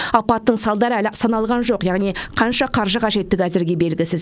апаттың салдары әлі саналған жоқ яғни қанша қаржы қажеттігі әзірге белгісіз